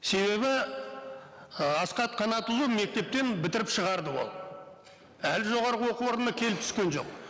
себебі ы асхат қанатұлы мектептен бітіріп шығарды ол әлі жоғарғы оку орнына келіп түскен жоқ